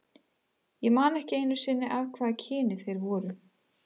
Ég man ekki einu sinni af hvaða kyni þeir voru.